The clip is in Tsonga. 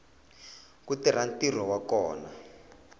ku tirha ntirho wa kona